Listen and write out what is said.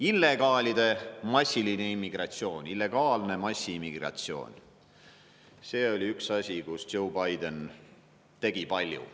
Illegaalide massiline immigratsioon, illegaalne massiimmigratsioon – see oli üks asi, kus Joe Biden tegi palju.